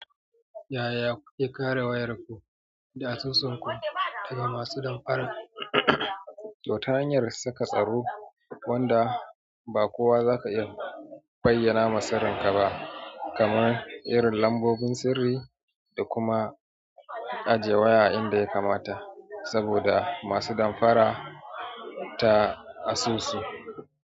Yaya ku ke kare wayarku da asusunku daga masu damfarar, to ta hanyar saka tsaro wanda ba kowa zaka iya bayyana masarinka ba kamar irin lambobin sirri da kuma ajiye waya inda ya kamata saboda masu damfara ta asusu?